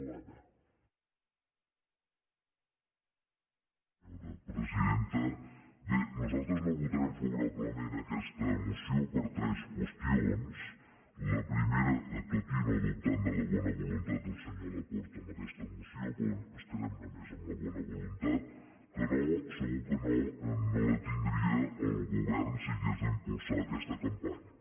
bé nosaltres no votarem favorablement aquesta moció per tres qüestions tot i no dubtar de la bona voluntat del senyor laporta amb aquesta moció però ens quedem només amb la bona voluntat que no segur que no no la tindria el govern si hagués d’impulsar aquesta campanya